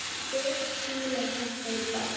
Fis fílar þetta í botn!